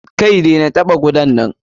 Kai! dena taɓa kudan nan!